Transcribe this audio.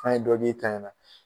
Kan ye dɔ k'e ta in na.